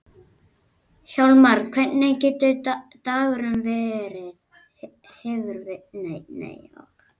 Hjálmar, hvernig hefur dagurinn verið?